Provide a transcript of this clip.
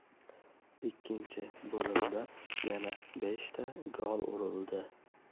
Ikkinchi bo‘limda yana beshta gol urildi.